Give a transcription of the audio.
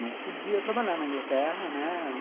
Não podia trabalhar na Inglaterra, né?